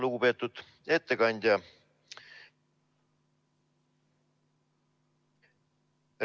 Lugupeetud ettekandja!